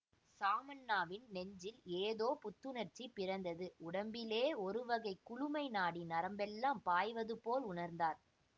சாமண்ணாவின் நெஞ்சில் ஏதோ புத்துணர்ச்சி பிறந்தது உடம்பிலே ஒருவகை குளுமை நாடி நரம்பெல்லாம் பாய்வதுபோல் உணர்ந்தார்